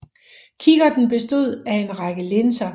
Kikkerten bestod af en række linser